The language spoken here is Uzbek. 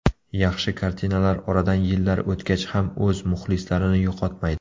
Yaxshi kartinalar oradan yillar o‘tgach ham o‘z muxlislarini yo‘qotmaydi.